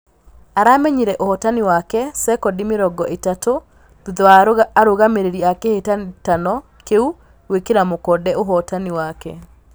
Aramenyire ũhotani wake sekondi mĩrongo ĩtatũ thutha wa arũgamĩrĩri a kĩhĩtahĩtano kĩu gwĩkĩra mũkonde ũhotani wake